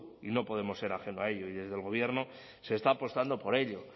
y no podemos ser ajeno a ello y desde el gobierno se está apostando por ello